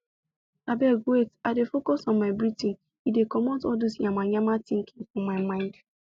abeg wait i dey focus on my breathing e dey comot all dos yamamaya thinking for my mind